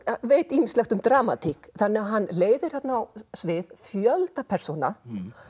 veit ýmislegt um dramatík þannig að hann leiðir þarna á svið fjölda persóna